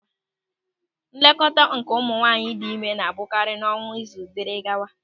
Nlekọta nke nwaanyị dị ime na-abụkarị n'ọnwa, izu, dịrị gawa.